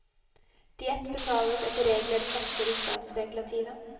Diett betales etter regler og satser i statsregulativet.